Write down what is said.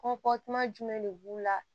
Kɔnti jumɛn de b'u la